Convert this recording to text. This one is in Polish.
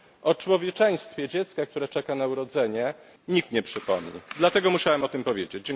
O człowieczeństwie dziecka, które czeka na urodzenie, nikt nie przypomni, dlatego musiałem o tym powiedzieć.